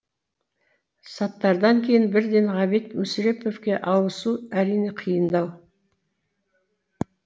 саттардан кейін бірден ғабит мүсіреповке ауысу әрине қиындау